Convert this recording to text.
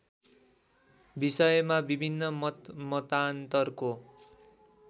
विषयमा विभिन्न मतमतान्तरको